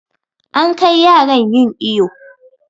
An kai yaran yin iƴo.